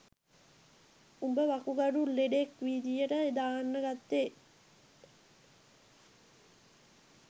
උඹ වකුගඩු ලෙඩෙක් විදියට දාන්න ගත්තේ